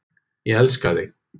Ég elska þig.